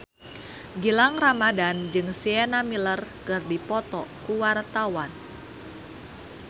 Gilang Ramadan jeung Sienna Miller keur dipoto ku wartawan